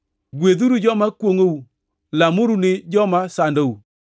Gwedhuru joma kwongʼou lamuru ni joma sandou.